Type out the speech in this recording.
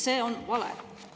See on vale!